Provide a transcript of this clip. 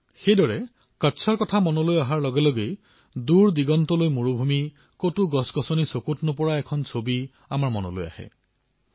আনহাতে কচ্ছৰ নাম মনলৈ অহাৰ লগে লগে মৰুভূমি কতো উদ্ভিদ এডালো নাই এনে দৃশ্য আমাৰ চকুত ভাঁহি উঠে